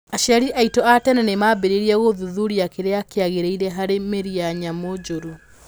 Aciari aitũ a tene nĩ maambĩrĩirie gũthuthuria kĩrĩa kĩagĩrĩire harĩ mĩĩrĩ ya nyamũ njũru.